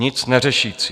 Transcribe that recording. Nic neřešící.